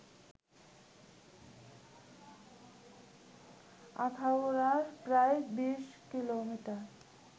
আখাউড়ার প্রায় ২০ কিলোমিটার